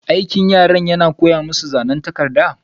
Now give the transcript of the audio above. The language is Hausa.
Aikin yaran yana koya masu zanan takarda.